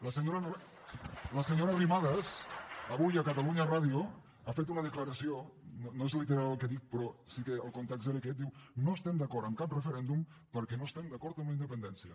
la senyora arrimadas avui a catalunya ràdio ha fet una declaració no és literal el que dic però sí que el context era aquest diu no estem d’acord amb cap referèndum perquè no estem d’acord amb la independència